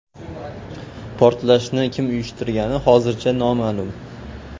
Portlashni kim uyushtirgani hozircha noma’lum.